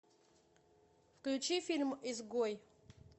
включи фильм изгой